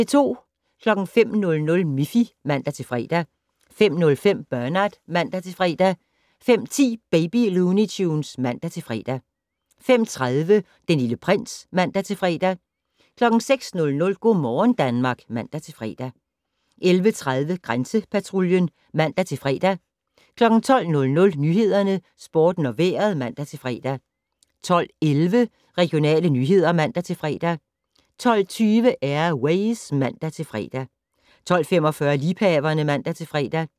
05:00: Miffy (man-fre) 05:05: Bernard (man-fre) 05:10: Baby Looney Tunes (man-fre) 05:30: Den Lille Prins (man-fre) 06:00: Go' morgen Danmark (man-fre) 11:30: Grænsepatruljen (man-fre) 12:00: Nyhederne, Sporten og Vejret (man-fre) 12:11: Regionale nyheder (man-fre) 12:20: Air Ways (man-fre) 12:45: Liebhaverne (man-fre)